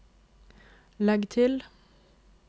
legg til